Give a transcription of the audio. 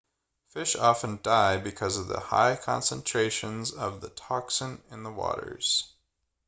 fish often die because of the high concentrations of the toxin in the waters